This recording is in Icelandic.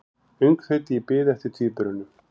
Öngþveiti í bið eftir tvíburunum